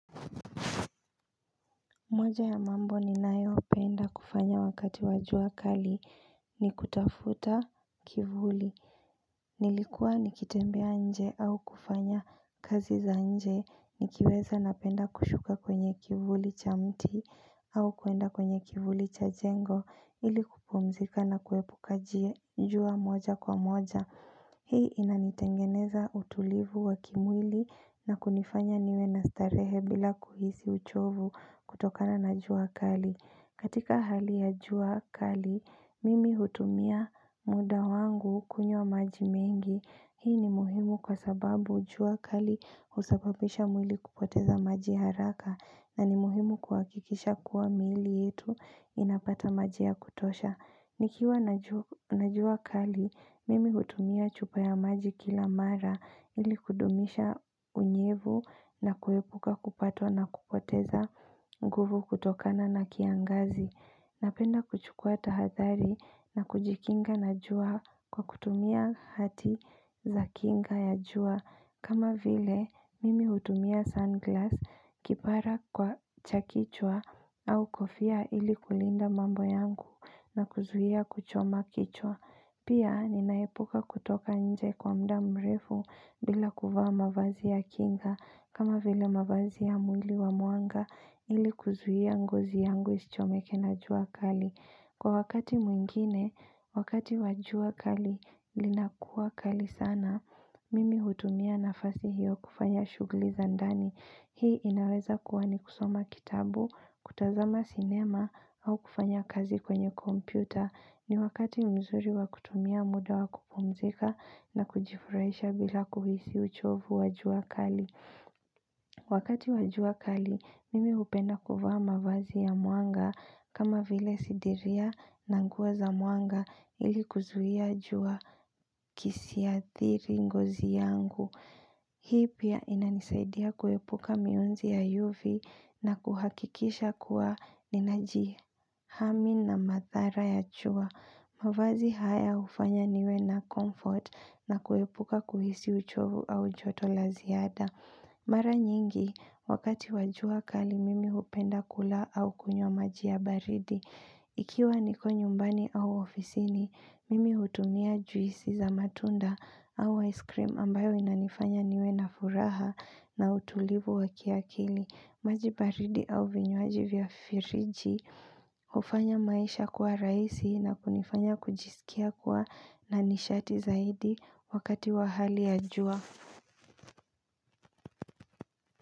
Moja ya mambo ninayopenda kufanya wakati wa jua kali ni kutafuta kivuli. Nilikuwa nikitembea nje au kufanya kazi za nje. Nikiweza napenda kushuka kwenye kivuli cha mti au kwenda kwenye kivuli cha jengo ili kupumzika na kuepuka jua moja kwa moja. Hii inanitengeneza utulivu wa kimwili na kunifanya niwe na starehe bila kuhisi uchovu kutokana na jua kali. Katika hali ya jua kali, mimi hutumia muda wangu kunywa maji mengi. Hii ni muhimu kwa sababu jua kali husababisha mwili kupoteza maji haraka na ni muhimu kuhakikisha kuwa miili yetu inapata maji ya kutosha. Nikiwa najua kali, mimi hutumia chupa ya maji kila mara ili kudumisha unyevu na kuepuka kupatwa na kupoteza nguvu kutokana na kiangazi. Napenda kuchukua tahathari na kujikinga na jua kwa kutumia hati za kinga ya jua. Kama vile, mimi hutumia sunglass kipara kwa cha kichwa au kofia ili kulinda mambo yangu na kuzuia kuchoma kichwa. Pia, ninaepuka kutoka nje kwa muda mrefu bila kuvaa mavazi ya kinga. Kama vile mavazi ya muli wa mwanga ili kuzuia ngozi yangu isichomeke na jua kali. Kwa wakati mwingine, wakati wa jua kali, linakuwa kali sana. Mimi hutumia nafasi hiyo kufanya shughuli za ndani. Hii inaweza kuwa ni kusoma kitabu, kutazama sinema au kufanya kazi kwenye kompyuta. Ni wakati mzuri wakutumia muda wakupumzika na kujifurahisha bila kuhisi uchovu wa jua kali. Wakati wa jua kali, mimi hupenda kuvaa mavazi ya mwanga kama vile sidiria na nguo za mwanga ili kuzuia jua kisiathiri ngozi yangu. Hii pia inanisaidia kuepuka mionzi ya UV na kuhakikisha kuwa ninajihami na mathara ya jua. Mavazi haya hufanya niwe na comfort na kuepuka kuhisi uchovu au joto la ziada. Mara nyingi, wakati wa jua kali mimi hupenda kula au kunywa maji ya baridi. Ikiwa niko nyumbani au ofisini, mimi hutumia juisi za matunda au ice cream ambayo inanifanya niwe na furaha na utulivu wakiakili, maji baridi au vinywaji vya firiji, hufanya maisha kuwa rahisi na kunifanya kujisikia kuwa na nishati zaidi wakati wa hali ya jua.